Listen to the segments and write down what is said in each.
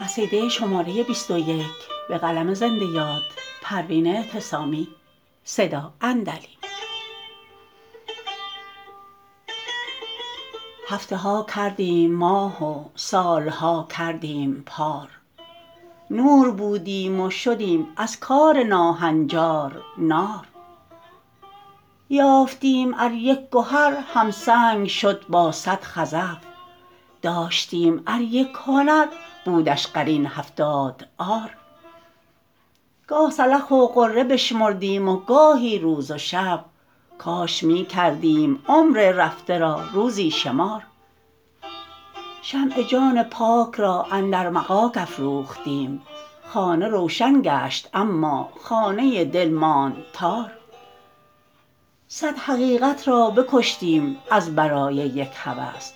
هفته ها کردیم ماه و سالها کردیم پار نور بودیم و شدیم از کار ناهنجار نار یافتیم ار یک گهر همسنگ شد با صد خزف داشتیم ار یک هنر بودش قرین هفتاد عار گاه سلخ و غره بشمردیم و گاهی روز و شب کاش میکردیم عمر رفته را روزی شمار شمع جان پاک را اندر مغاک افروختیم خانه روشن گشت اما خانه دل ماند تار صد حقیقت را بکشتیم از برای یک هوس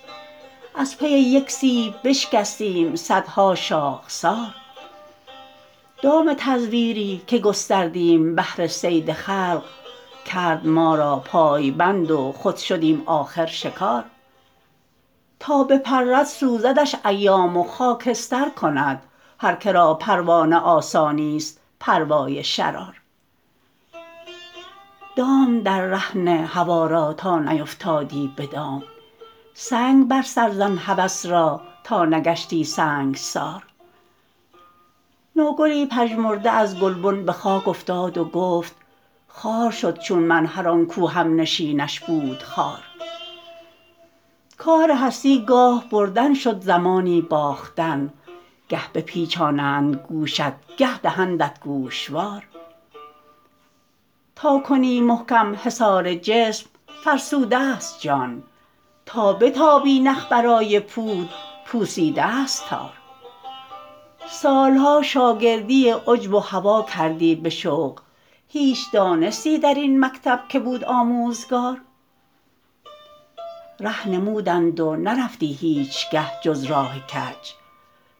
از پی یک سیب بشکستیم صدها شاخسار دام تزویری که گستردیم بهر صید خلق کرد ما را پایبند و خود شدیم آخر شکار تا بپرد سوزدش ایام و خاکستر کند هر که را پروانه آسانیست پروای شرار دام در ره نه هوی را تا نیفتادی بدام سنگ بر سر زن هوس را تا نگشتی سنگسار نوگلی پژمرده از گلبن بخاک افتاد و گفت خوار شد چون من هر آنکو همنشینش بود خار کار هستی گاه بردن شد زمانی باختن گه بپیچانند گوشت گه دهندت گوشوار تا کنی محکم حصار جسم فرسود است جان تا بتابی نخ برای پود پوسیداست تار سالها شاگردی عجب و هوی کردی بشوق هیچ دانستی در این مکتب که بود آموزگار ره نمودند و نرفتی هیچگه جز راه کج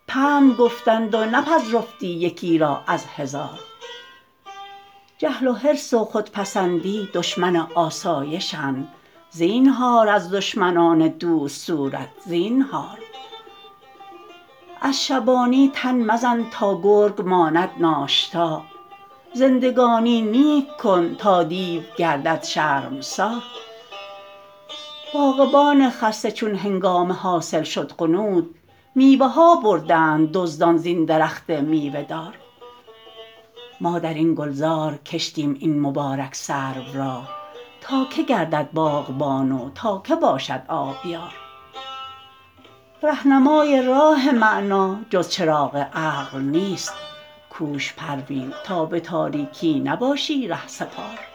پند گفتند و نپذرفتی یکی را از هزار جهل و حرص و خودپسندی دشمن آسایشند زینهار از دشمنان دوست صورت زینهار از شبانی تن مزن تا گرگ ماند ناشتا زندگانی نیک کن تا دیو گردد شرمسار باغبان خسته چون هنگام حاصل شد غنود میوه ها بردند دزدان زین درخت میوه دار ما درین گلزار کشتیم این مبارک سرو را تا که گردد باغبان و تا که باشد آبیار رهنمای راه معنی جز چراغ عقل نیست کوش پروین تا به تاریکی نباشی رهسپار